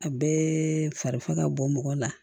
A bɛɛ fari fa ka bɔ mɔgɔ la